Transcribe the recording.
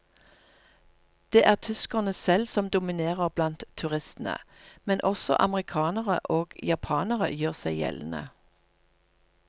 Det er tyskerne selv som dominerer blant turistene, men også amerikanere og japanere gjør seg gjeldende.